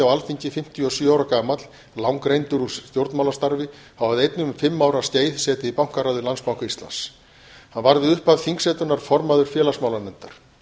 á alþingi fimmtíu og sjö ára gamall langreyndur úr stjórnmálastarfi og hafði einnig um fimm ára skeið setið í bankaráði landsbanka íslands hann varð við upphaf þingsetunnar formaður félagsmálanefndar